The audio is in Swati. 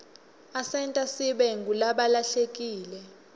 asenta sibe ngulabahlelekile